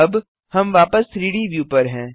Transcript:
अब हम वापस 3डी व्यू पर हैं